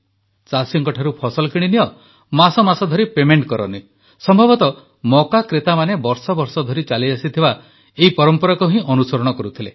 ଚାଷୀଙ୍କଠାରୁ ଫସଲ କିଣିନିଅ ମାସମାସ ଧରି ପେମେଣ୍ଟ କରନି ସମ୍ଭବତଃ ମକା କ୍ରେତାମାନେ ବର୍ଷବର୍ଷ ଧରି ଚାଲିଆସିଥିବା ସେହି ପରମ୍ପରାକୁ ହିଁ ଅନୁସରଣ କରୁଥିଲେ